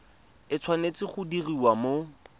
e tshwanetse go diriwa mo